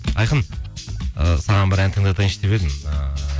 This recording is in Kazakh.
айқын ыыы саған бір ән тыңдатайыншы деп едім ыыы